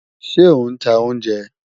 Ṣe o n ta ounjẹ?